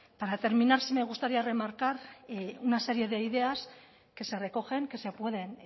para terminar sí me gustaría remarcar una serie de ideas que se recogen que se pueden